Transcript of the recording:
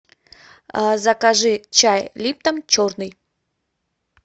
закажи чай липтон черный